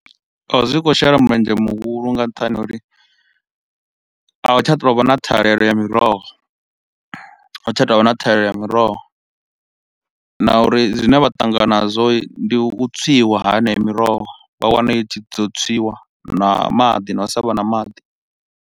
A zwi khou shela mulenzhe muhulu nga nṱhani ha uri ahu tsha tou vha na ṱhahelelo ya miroho. A hu tsha tou vha na ṱhahelelo ya miroho na uri zwine vha ṱangana nazwo ndi u tswiwa ha eneyo miroho, vha wana i tshi ḓo tswiwa na maḓi na u sa vha na maḓi.